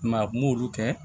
I m'a ye a m'olu kɛ